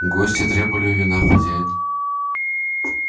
гости требовали вина хозяин